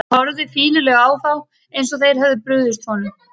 Hann horfði fýlulega á þá, eins og þeir hefðu brugðist honum.